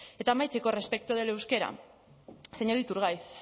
eta amaitzeko respecto del euskera señor iturgaiz